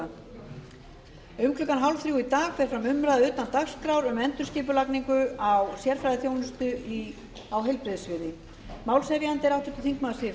um klukkan fjórtán þrjátíu í dag fer fram umræða utan dagskrár um endurskipulagningu á sérfræðiþjónustu á heilbrigðissviði málshefjandi er háttvirtur þingmaður siv